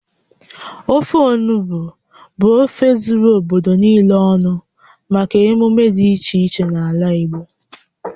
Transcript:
Ofe onugbu bụ ofe zuru obodo niile ọnụ maka emume dị iche iche n'ala Igbo